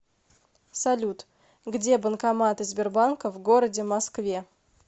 салют где банкоматы сбербанка в городе москве